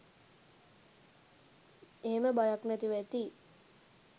එහෙම බයක් නැතිව ඇති.